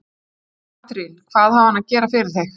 Katrín: Hvað á hann að gera fyrir þig?